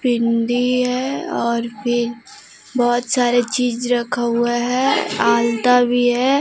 बिंदी है और भी बहोत सारे चीज रखा हुआ है आलता भी है।